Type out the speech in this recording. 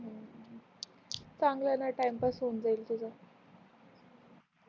चांगल आहे न तिने पास होऊन जाईल तुझा